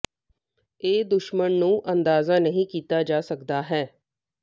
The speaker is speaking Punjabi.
ਇਹ ਦੁਸ਼ਮਣ ਨੂੰ ਅੰਦਾਜ਼ਾ ਨਹੀ ਕੀਤਾ ਜਾ ਸਕਦਾ ਹੈ